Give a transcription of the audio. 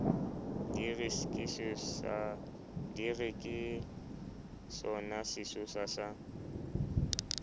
di re ke sonasesosa sa